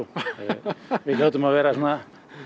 við hljótum að vera svona